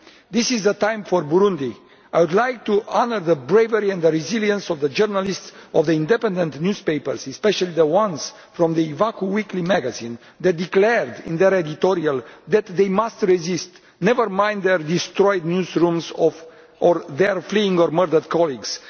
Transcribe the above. This is a time for Burundi. I would like to honour the bravery and resilience of the journalists of the independent newspapers, especially the ones from the weekly magazine Iwacu that declared in their editorial that they must resist never mind their destroyed newsrooms or their fleeing or murdered colleagues.